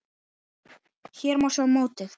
Hér má sjá mótið.